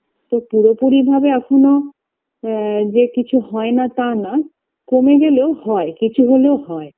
তো পুরোপুরি ভাবে এখোনো আ যে কিছু হয়না তানা কমে গেলেও হয় কিছু হলেও হয়